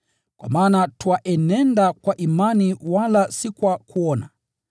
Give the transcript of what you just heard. kwa maana twaenenda kwa imani wala si kwa kuona.